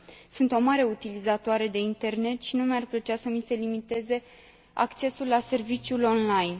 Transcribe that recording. Sunt o mare utilizatoare de internet și nu mi ar plăcea să mi se limiteze accesul la serviciul online.